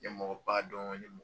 Ɲɛmɔgɔ ba dɔn .